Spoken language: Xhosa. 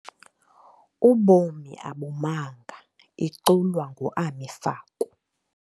Ubomi Abumanga, iculwa nguAmi Faku.